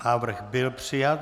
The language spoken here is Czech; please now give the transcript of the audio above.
Návrh byl přijat.